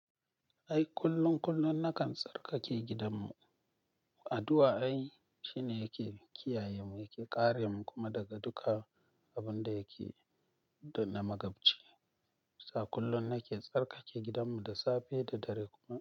Ai kullum, kullum na kan tsarkake gidanmu. Addu'a ai shine yake kiyayenmu, yake kare mu kuma daga duka abun da yake dan na magabci. Sa kullum nake tsarkake gidanmu da safe da dare kuma.